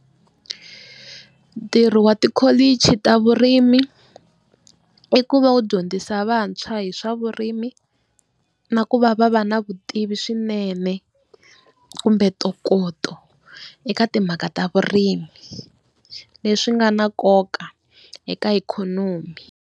Ntirho wa tikholichi ta vurimi, i ku va wu dyondzisa vantshwa hi swa vurimi na ku va va va na vutivi swinene kumbe ntokoto eka timhaka ta vurimi leswi nga na nkoka eka ikhonomi.